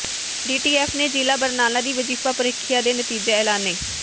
DTF ਨੇ ਜ਼ਿਲ੍ਹਾ ਬਰਨਾਲਾ ਦੀ ਵਜ਼ੀਫਾ ਪ੍ਰੀਖਿਆ ਦੇ ਨਤੀਜੇ ਐਲਾਨੇ